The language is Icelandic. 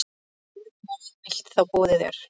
Mörgum verður bilt þá boðið er.